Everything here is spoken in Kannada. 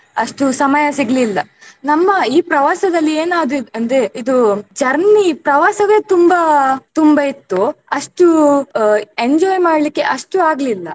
ಅಷ್ಟು ಸಮಯ ಸಿಗ್ಲಿಲ್ಲ ನಮ್ಮ ಈ ಪ್ರವಾಸದಲ್ಲಿ ಎನಾದದ್ದ ಅಂದ್ರೆ ಇದು journey ಪ್ರವಾಸವೆ ತುಂಬಾ ತುಂಬಾ ಇತ್ತು ಅಷ್ಟು ಆ enjoy ಮಾಡ್ಲಿಕ್ಕೆ ಅಷ್ಟು ಆಗ್ಲಿಲ್ಲ.